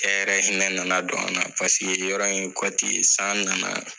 Cɛ yɛrɛ hinɛ nana don an na, paseke yɔrɔ in ye kɔti ye san nana!